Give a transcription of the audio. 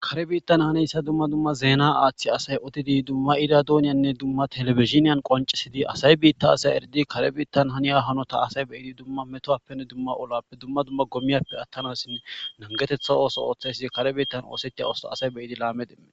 kare biittan haneyssa dumma dumma zeena aaththi asay odidi dumma iira dooniyanne dumma telifiziniyan qoncisidi asay biitta asay erdi kare biittan haniya hanota asay beyidi dumma metoappenne dumma olappe dumma dumma gomiyarpe attanassin nangetetha ooso ooththaysidi kare biittan oosettiya ooso asay beyidi laamedeee